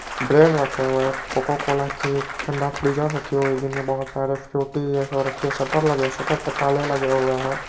Bread रखे हुए है कोका कोला की ठंडा फ्रीजर रखी हुई है जिनमे बहुत सारे फ्रूटी जैसी रखें हुए हैं। शटर लगे हुए है शटर पर ताले लगे हुए है।